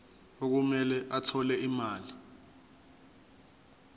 okumele athole imali